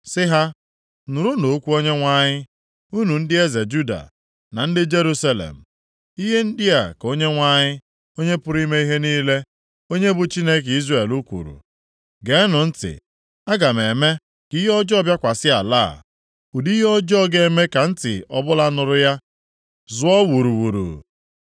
Sị ha, ‘Nụrụnụ okwu Onyenwe anyị, unu ndị eze Juda, na ndị Jerusalem. Ihe ndị a ka Onyenwe anyị, Onye pụrụ ime ihe niile, onye bụ Chineke Izrel kwuru. Geenụ ntị! Aga m eme ka ihe ọjọọ bịakwasị ala a, ụdị ihe ọjọọ ga-eme ka ntị ọbụla nụrụ ya zụọ wuruwuru.